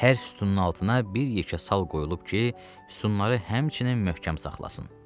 Hər sütunun altına bir yekə sal qoyulub ki, sütunları həmçinin möhkəm saxlasın.